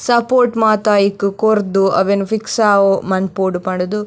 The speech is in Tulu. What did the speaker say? ಸಪೋರ್ಟ್ ಮಾತ ಐಕ್ ಕೊರ್ದು ಅವೆನ್ ಫಿಕ್ಸ್ ಆವೊ ಮನ್ಪೊಡ್ ಪಂಡ್ದ್ --